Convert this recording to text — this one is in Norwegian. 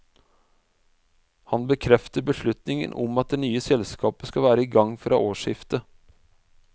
Han bekrefter beslutningen om at det nye selskapet skal være i gang fra årsskiftet.